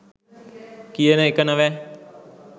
කියන එක නොවැ